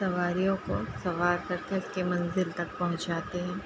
सवारियों को सवार कर करके मंजिल तक पहुंचाते हैं।